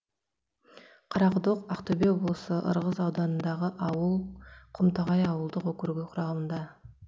қарақұдық ақтөбе облысы ырғыз ауданыдағы ауыл құмтоғай ауылдық округі құрамында